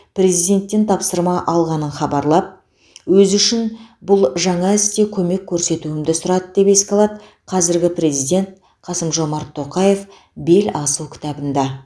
президенттен тапсырма алғанын хабарлап өзі үшін бұл жаңа істе көмек көрсетуімді сұрады деп еске алады қазіргі президент қасым жомарт тоқаев беласу кітабында